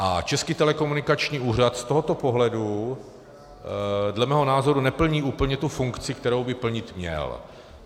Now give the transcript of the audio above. A Český telekomunikační úřad z tohoto pohledu dle mého názoru neplní úplně tu funkci, kterou by plnit měl.